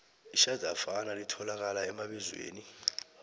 itjhadafana litholakala emabizweni